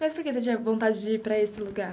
Mas por que você tinha vontade de ir para esse lugar?